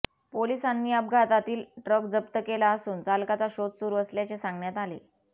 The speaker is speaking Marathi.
पोलिसांनी अपघातातील ट्रक जप्त केला असून चालकाचा शोध सुरू असल्याचे सांगण्यात आले